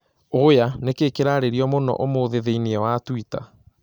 Oya nĩ kĩĩ kĩrarĩrio mũno ũmũthĩ thĩinĩ wa twitter?